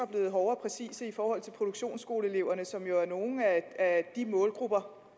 blevet hårde og præcise i forhold til produktionsskoleeleverne som jo er en af de målgrupper